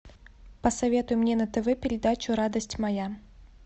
посоветуй мне на тв передачу радость моя